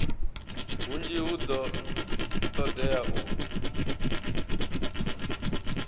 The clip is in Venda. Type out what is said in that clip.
hunzhi hu do todea u